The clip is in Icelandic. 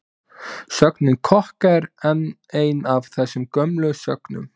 Sögnin kokka er enn ein af þessum gömlu sögnum.